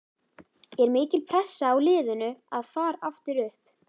Er mikil pressa á liðinu að far aftur upp?